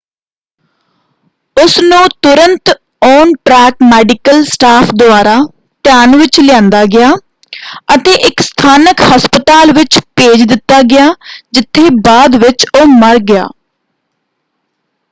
ਉਸ ਨੂੰ ਤੁਰੰਤ ਔਨ-ਟ੍ਰੈਕ ਮੈਡੀਕਲ ਸਟਾਫ਼ ਦੁਆਰਾ ਧਿਆਨ ਵਿੱਚ ਲਿਆਂਦਾ ਗਿਆ ਅਤੇ ਇੱਕ ਸਥਾਨਕ ਹਸਪਤਾਲ ਵਿੱਚ ਭੇਜ ਦਿੱਤਾ ਗਿਆ ਜਿੱਥੇ ਬਾਅਦ ਵਿੱਚ ਉਹ ਮਰ ਗਿਆ।